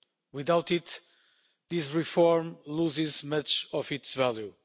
Without it, this reform loses much of its value.